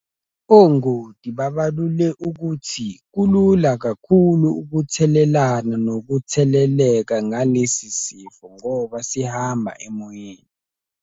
Ongoti babalule ukuthi kulula kakhulu ukuthelelana nokutheleleka ngalesisifo ngoba sihamba emoyeni.